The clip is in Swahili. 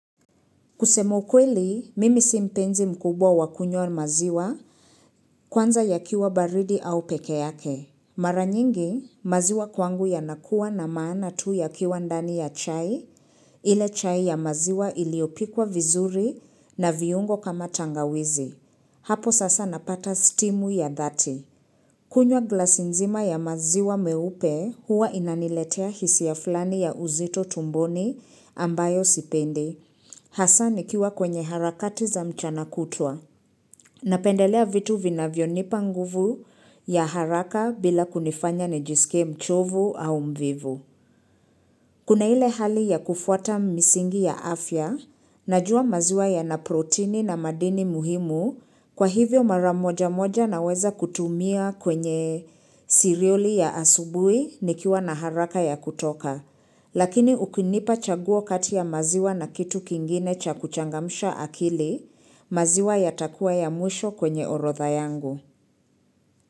Kusema ukweli, mimi simpenzi mkubwa wakunywa maziwa, kwanza yakiwa baridi au peke yake. Mara nyingi, maziwa kwangu yanakuwa na maana tu yakiwa ndani ya chai, ile chai ya maziwa iliyopikwa vizuri na viungo kama tangawizi. Hapo sasa napata stimu ya dhati. Kunywa glasi nzima ya maziwa meupe huwa inaniletea hisia fulani ya uzito tumboni ambayo sipendi. Hasa nikiwa kwenye harakati za mchana kutwa. Napendelea vitu vinavyonipa nguvu ya haraka bila kunifanya nijisikie mchovu au mvivu. Kuna ile hali ya kufuata misingi ya afya, najua maziwa ya naproteini na madini muhimu, kwa hivyo mara moja moja naweza kutumia kwenye cereal ya asubuhi nikiwa na haraka ya kutoka. Lakini ukinipa chaguo kati ya maziwa na kitu kingine cha kuchangamsha akili, maziwa yatakuwa ya mwisho kwenye orodha yangu.